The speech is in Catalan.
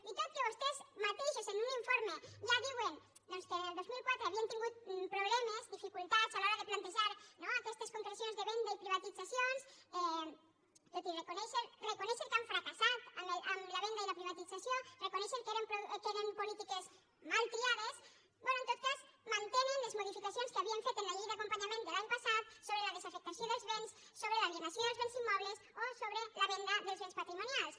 i tot i que vostès mateixos en un informe ja diuen doncs que el dos mil catorze havien tingut problemes dificultats a l’hora de plantejar no aquestes concrecions de venda i privatitzacions tot i reconèixer que han fracassat en la venda i la privatització reconèixer que eren polítiques mal triades bé en tot cas mantenen les modificacions que havien fet en la llei d’acompanyament de l’any passat sobre la desafectació dels béns sobre l’alienació dels béns immobles o sobre la venda dels béns patrimonials